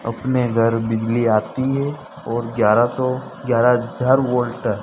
अपने घर बिजली आती है और ग्यारह सौ ग्यारह हजार वोल्ट --